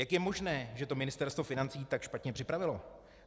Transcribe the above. Jak je možné, že to Ministerstvo financí tak špatně připravilo?